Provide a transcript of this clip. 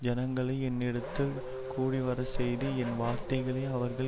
ஜனங்களை என்னிடத்தில் கூடிவரச்செய்து என் வார்த்தைகளை அவர்கள்